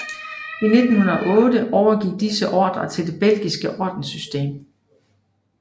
I 1908 overgik disse ordener til det belgiske ordenssystem